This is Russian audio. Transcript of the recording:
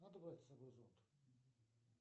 надо брать с собой зонт